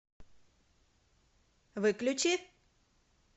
выключи